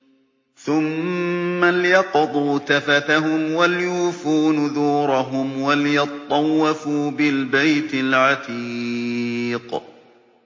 ثُمَّ لْيَقْضُوا تَفَثَهُمْ وَلْيُوفُوا نُذُورَهُمْ وَلْيَطَّوَّفُوا بِالْبَيْتِ الْعَتِيقِ